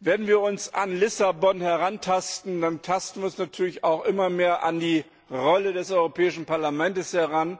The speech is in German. Wenn wir uns an Lissabon herantasten, dann tasten wir uns natürlich auch immer mehr an die Rolle des Europäischen Parlaments heran.